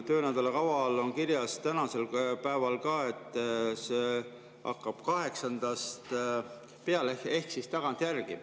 Töönädala kavas on küll kirjas, tänasel päeval ka, et see hakkab peale 8‑ndast ehk tagantjärele.